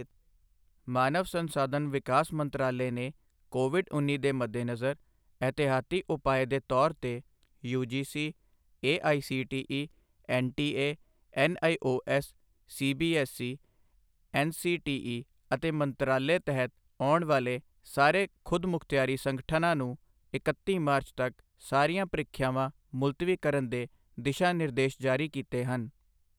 ਮਾਨਵ ਸੰਸਾਧਨ ਵਿਕਾਸ ਮੰਤਰਾਲੇ ਨੇ ਕੋਵਿਡ ਉੱਨੀ ਦੇ ਮੱਦੇਨਜ਼ਰ ਇਹਤਿਹਾਤੀ ਉਪਾਅ ਦੇ ਤੌਰ ਤੇ UGC, AICTE, NTA, NIOS, CBSE, NCTE ਅਤੇ ਮੰਤਰਾਲੇ ਤਹਿਤ ਆਉਣ ਵਾਲੇ ਸਾਰੇ ਖ਼ੁਦਮੁਖਤਿਆਰੀ ਸੰਗਠਨਾਂ ਨੂੰ ਇਕੱਤੀ ਮਾਰਚ ਤੱਕ, ਸਾਰੀਆਂ ਪਰੀਖਿਆਵਾਂ ਮੁਲਤਵੀ ਕਰਨ ਦੇ ਦਿਸ਼ਾ ਨਿਰਦੇਸ਼ ਜਾਰੀ ਕੀਤੇ ਹਨ।